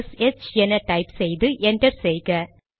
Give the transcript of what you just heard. S H என type செய்து enter செய்க